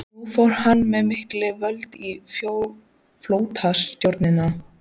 Nú fór hann með mikil völd í flotastjórninni.